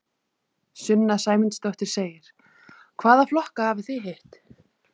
Sunna Sæmundsdóttir: Hvaða flokka hafið þið hitt?